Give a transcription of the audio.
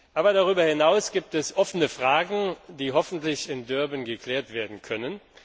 Aber darüber hinaus gibt es offene Fragen, die hoffentlich in Durban geklärt werden können.